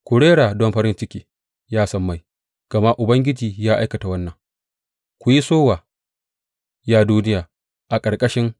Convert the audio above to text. Ku rera don farin ciki, ya sammai, gama Ubangiji ya aikata wannan; ku yi sowa, ya duniya a ƙarƙashi.